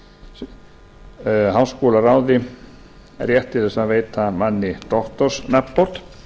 sem veitir háskólaráði rétt til að veita manni doktorsnafnbót